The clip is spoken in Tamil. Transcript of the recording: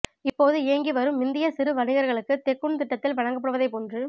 இப்போது இயங்கி வரும் இந்திய சிறு வணிகர்களுக்கு தெக்குன் திட்டத்தில் வழங்கப்படுவதைப் போன்று